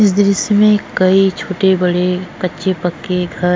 इस दृश्य में कइ छोटे बड़े कच्चे पक्के घर --